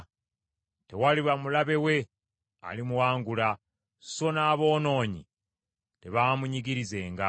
Tewaliba mulabe we alimuwangula, so n’aboonoonyi tebaamunyigirizenga.